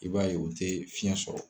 I b'a ye o tɛ fiyɛn sɔrɔ.